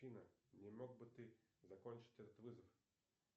афина не мог бы ты закончить этот вызов